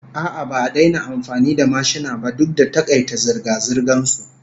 A'a, ba a daina amfani da mashina ba duk da takaita zirga-zirgan su